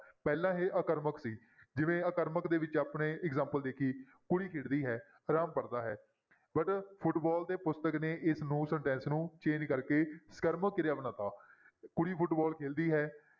ਪਹਿਲਾਂ ਇਹ ਆਕਰਮਕ ਸੀ ਜਿਵੇਂ ਆਕਰਮਕ ਦੇ ਵਿੱਚ ਆਪਣੇ example ਦੇਖੀਏ ਕੁੜੀ ਖੇਡਦੀ ਹੈ, ਰਾਮ ਪੜ੍ਹਦਾ ਹੈ but ਫੁਟਬਾਲ ਤੇ ਪੁਸਤਕ ਨੇ ਇਸਨੂੰ sentence ਨੂੰ change ਕਰਕੇ ਸਕਰਮਕ ਕਿਰਿਆ ਬਣਾ ਦਿੱਤਾ ਕੁੜੀ ਫੁਟਬਾਲ ਖੇਲਦੀ ਹੈ